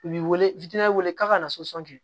U b'i wele weele k'a ka kɛ